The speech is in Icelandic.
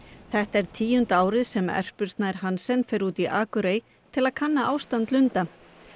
þetta er tíunda árið sem Erpur Snær Hansen fer út í Akureyr til að kanna ástand lunda